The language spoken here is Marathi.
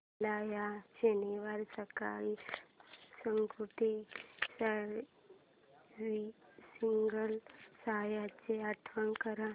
मला या शनिवारी सकाळी स्कूटी सर्व्हिसिंगला द्यायची आठवण कर